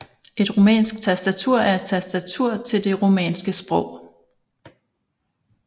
Et rumænsk tastatur er et tastatur til det rumænske sprog